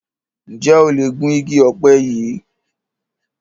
Njé o lẹ Gún ìgi òpe yí?